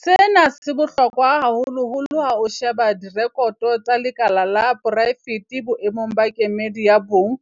Sena se bohlokwa haholoholo ha o sheba direkoto tsa lekala la poraefete boemong ba kemedi ya bong